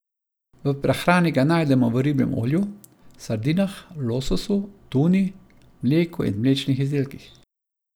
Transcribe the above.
V prehrani ga najdemo v ribjem olju, sardinah, lososu, tuni, mleku in mlečnih izdelkih.